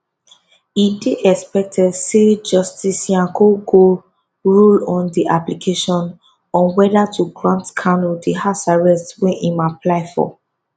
e dey expected say justice nyako go rule on di application on whether to grant kanu di house arrest wey im apply for